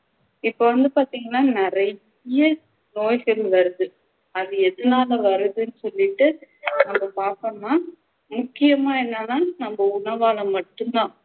இப்போ வந்து பாத்திங்கண்ணா நிறைய நோய்கள் வருது அது எதனால வருதுன்னு சொல்லிட்டு அதை பாத்தோம்னா முக்கியமா என்னன்னா நம்ம உணவால மட்டும் தான்